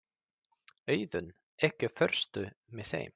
Auðunn, ekki fórstu með þeim?